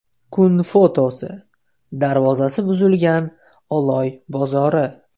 Kun fotosi: Darvozasi buzilgan Oloy bozori .